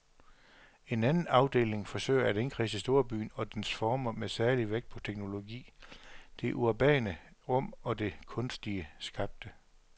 En anden afdeling forsøger at indkredse storbyen og dens former med særlig vægt på teknologi, det urbane rum og det kunstigt skabte.